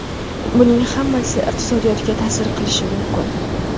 Buning hammasi iqtisodiyotga ta’sir qilishi mumkin.